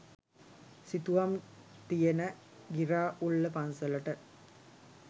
සිතුවම් තියෙන ගිරාඋල්ල පන්සලට.